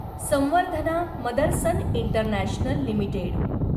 Samvardhana Motherson international limited